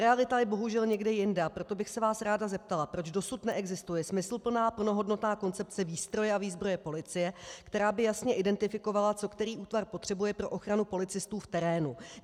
Realita je bohužel někde jinde, a proto bych se vás ráda zeptala, proč dosud neexistuje smysluplná, plnohodnotná koncepce výstroje a výzbroje policie, která by jasně identifikovala, co který útvar potřebuje pro ochranu policistů v terénu.